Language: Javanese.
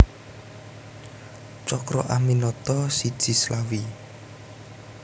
Cokroaminoto siji Slawi